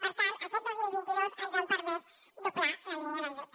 per tant aquest dos mil vint dos ens ha permès doblar la línia d’ajut